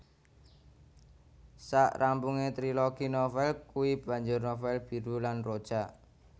Sak rampunge trilogi novel kui banjur novel Biru lan Rojak